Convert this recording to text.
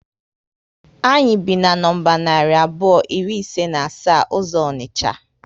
Anyị bi na nọmba narị abụọ iri ise na asa uzo onicha